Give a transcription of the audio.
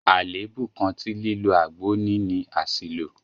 Àlèébú kan tí lílo àgbo ní ni àṣìlò.